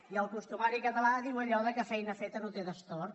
i el costumari catalàallò que feina feta no té destorb